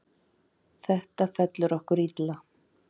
Þetta fellur okkur illa.